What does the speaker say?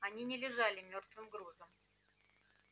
они не лежали мёртвым грузом